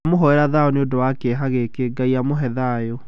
Tũramũhoera thaayũ nĩ ũndũ wa kĩeha gĩkĩ, Ngai amũhe thaayũ.